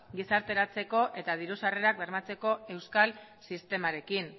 gizarteratzeko eta diru sarrerak bermatzeko euskal sistemarekin